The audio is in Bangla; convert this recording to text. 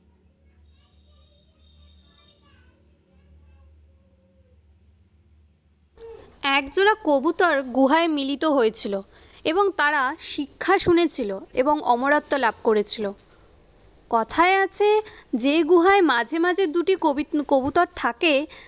এক জোড়া কবুতর গুহায় মিলিত হয়েছিল এবং তারা শিক্ষা শুনেছিল এবং অমরত্ত্ব লাভ করেছিল কথায় আছে যে গুহায় মাঝে মাঝে দুটি কবিট কবুতর থাকে।